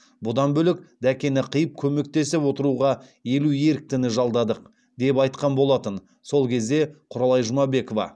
бұдан бөлек дәкені қиып көмектесіп отыруға елу еріктіні жалдадық деп айтқан болатын сол кезде құралай жұмабекова